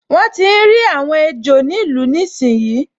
Wọ́n tíi rí àwọn ejò nínú ìlú níìsín